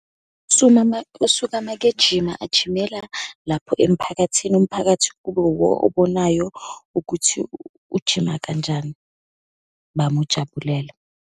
Usuka uma-ke ejima, ajimela lapho emphakathini. Umphakathi kube wuwo obonayo ukuthi ujima kanjani, bamujabulele.